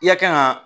I ya kan ka